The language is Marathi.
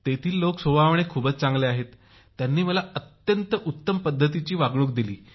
तेथील लोक स्वभावाने खूपच चांगले आहेत त्यांनी मला अत्यंत उत्तम पद्धतीची वागणूक दिली